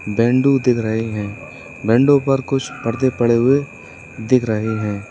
Baidu देख रहे हैं बैडू पर कुछ पर्दे पड़े हुए दिख रहे हैं।